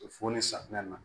Fo ni safunɛ na